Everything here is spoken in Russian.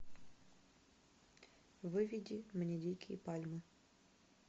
выведи мне дикие пальмы